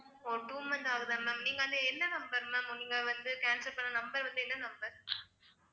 ஓ two months ஆகுதா ma'am நீங்க அந்த என்ன number ma'am நீங்க வந்து cancel பண்ண number வந்து என்ன number?